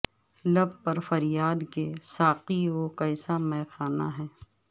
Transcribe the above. لب پر فریاد کہ ساقی وہ کیسا مے خانہ ہے